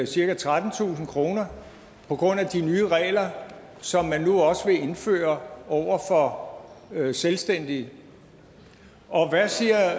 cirka trettentusind kroner på grund af de nye regler som man nu også vil indføre for selvstændige og hvad siger